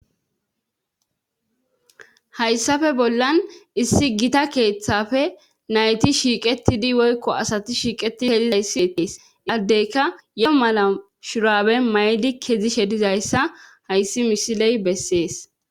hayssafe bollan issi gita keeththafe nayti shiiqetidi woykko asati shiiqeti helilayssietees qaddeyka yoo mala shuraabe mayli kezi shedizayssa hayssi mishiley bessees.